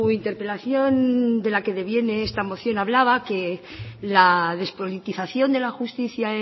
interpelación de la que deviene esta moción hablaba que la despolitización de la justicia